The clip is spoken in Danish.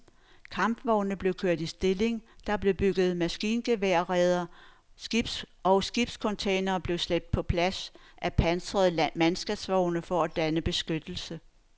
Kampvogne blev kørt i stilling, der blev bygget maskingeværsreder og skibscontainere blev slæbt på plads af pansrede mandskabsvogne for at danne beskyttelse.